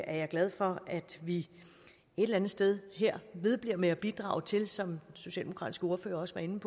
er jeg glad for at vi et eller andet sted her vedbliver med at bidrage til som den socialdemokratiske ordfører også var inde